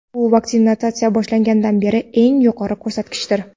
Bu vaksinatsiya boshlangandan beri eng yuqori ko‘rsatkichdir.